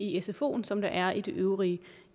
i sfoen som der er i de øvrige